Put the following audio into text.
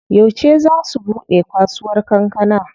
Yauce zaa su buɗe kasuwar kankana?